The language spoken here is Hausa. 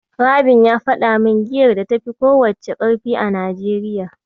Rabin ya faɗa min giyar da tafi ko wacce ƙarfi a Najeriya.